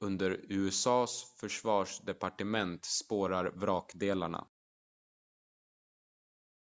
under usa:s försvarsdepartement spårar vrakdelarna